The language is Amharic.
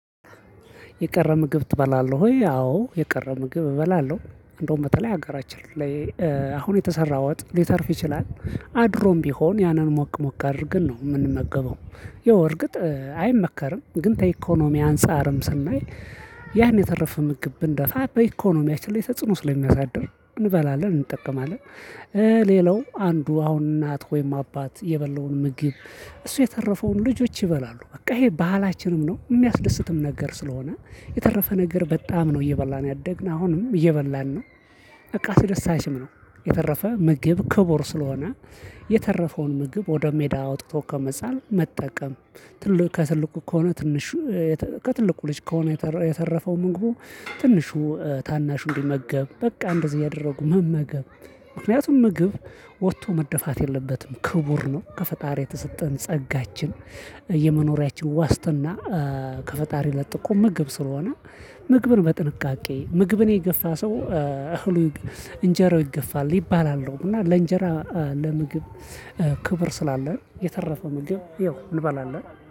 የቀረ ምግብ ትበላለህ ወይ? አዎ የቀረ ምግብ እበላለሁ። እንደውም በተለይ ሀገራችን ላይ አሁን የተሰራው ወጥ ሊተርፍ ይችላል አድሮም ቢሆን ያንን ሞቅ ሞቅ አድርገን ነው የምንመገበው። ያው እርግጥ አይመከርም ግን ተኢኮኖሚ አንፃርም ስናይ ያን የተረፈ ምግብ ብንደፋ በኢኮኖሚያችን ላይ ተጽዕኖ ስለሚያሳድር እንበላለን እንጠቀማለን። ሌላው አንዱ አሁን እናት ወይም አባት የበላውን ምግብ እሱ የተረፈውን ልጆች ይበላሉ በቃ ይሄ ባህላችንም ነው የሚያስደስትም ነገር ስለሆነ የተረፈ ነገር በጣም ነው እየበላን ያደግን አሁንም እየበላን ነው። ያው እርግጥ አይመከርም ግን ተኢኮኖሚ አንፃርም ስናይ ያን የተረፈ ምግብ ብንደፋ በኢኮኖሚያችን ላይ ተጽዕኖ ስለሚያሳድር እንበላለን። እንጠቀማለን ሌላው አንዱ አሁን እናት ወይም አባት የበላውን ምግብ ከሱ የተረፈውን ልጆች ይበላሉ በቃ ይሄ ባህላችንም ነው የሚያስደስትም ነገር ስለሆነ የተረፈ ነገር በጣም ነው እየበላን ያደግን አሁንም እየበላን ነው። በቃ አስደሳችም ነው የተረፈ ምግብ ክቡር ስለሆነ የተረፈውን ምግብ ወደ ሜዳ አውጥቶ ከመጣል መጠቀም። ከፈጣሪ ለጥቆ ምግብ ስለሆነ ምግብን በጥንቃቄ ምግብን የገፋ ሰው እህሉ እንጀራው ይገፋል ይባላሉ እና ለእንጀራ ለምግብ ክብር ስላለን የተረፈ ምግብ ይኸው እንበላለን